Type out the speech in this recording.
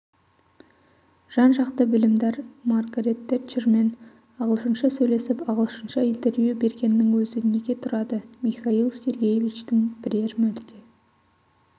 жан-жақты білімдар маргарэт тэдчермен ағылшынша сөйлесіп ағылшынша интервью бергеннің өзі неге тұрады михаил сергеевичтің бірер мәрте